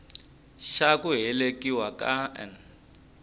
xa ku velekiwa ka n